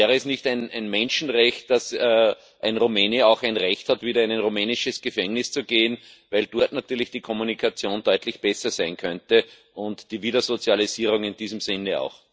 Wäre es nicht ein Menschenrecht, dass ein Rumäne auch ein Recht hat, wieder in ein rumänisches Gefängnis zu gehen, weil dort natürlich die Kommunikation deutlich besser sein könnte und die Wiedersozialisierung in diesem Sinne auch?